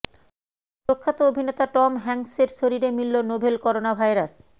প্রখ্যাত অভিনেতা টম হ্যাঙ্কসের শরীরে মিলল নোভেল করোনা ভাইরাস